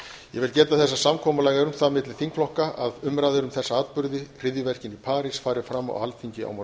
vil geta þess að samkomulag er um það milli þingflokka að umræður um þessa atburði hryðjuverkin í parís fari fram á alþingi